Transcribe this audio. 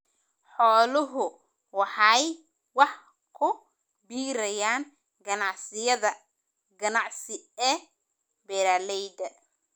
Xooluhu waxay wax ku biiriyaan ganacsiyada ganacsi ee beeralayda.